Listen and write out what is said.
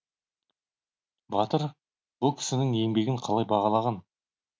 батыр бұл кісінің еңбегін қалай бағалаған